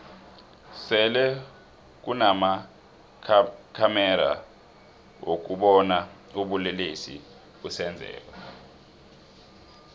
sele kunama khamexa wokubona ubulelesi busenzeka